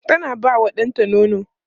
tana ba wa ɗanta nono